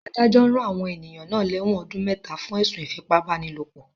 Adájọ́ rán àwọn ènìyàn náà lẹ́wọ̀n ọdún mẹta fún ẹ̀sùn ìfipá-báni-lòpọ̀